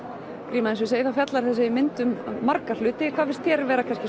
gríma eins og ég segi þá fjallar þessi mynd um marga hluti en hvað finnst þér vera kannski